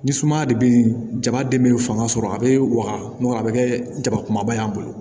Ni sumaya de bɛ jama den minnu fanga sɔrɔ a bɛ wagatu a bɛ kɛ jaba kumaba ye an bolo